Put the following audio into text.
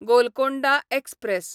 Golconda express